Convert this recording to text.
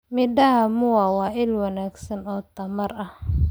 Midhaha muwa waa il wanaagsan oo tamar ah.